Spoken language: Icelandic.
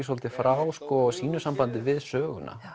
svolítið frá sínu sambandi við söguna